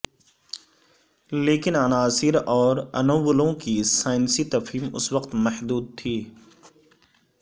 لیکن عناصر اور انوولوں کی سائنسی تفہیم اس وقت محدود تھی